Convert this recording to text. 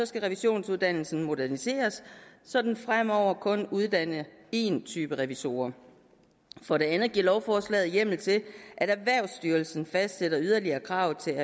skal revisionsuddannelsen moderniseres så der fremover kun uddannes én type revisorer for det andet giver lovforslaget hjemmel til at erhvervsstyrelsen fastsætter yderligere krav til